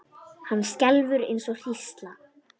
Hann skelfur eins og hrísla.